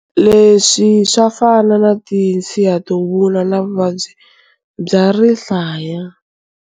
Leswi swa fana na tinso to vuna na vuvabyi bya rihlaya.